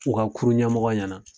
U ka kurun ɲɛmɔgɔ ɲɛna.